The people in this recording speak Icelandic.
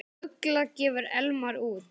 Ugla gefur Elmar út.